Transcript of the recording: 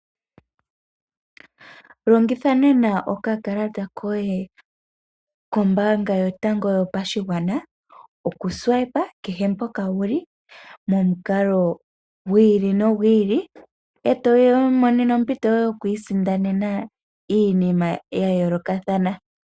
Longitha nena oka kalata koye kombanga yotango yopashigwana oku swipa kehe mpoka wuli momukalo gwi ili nogu ili, eto imonene ompito yoye yoku isindanena iinima ya yolokathana.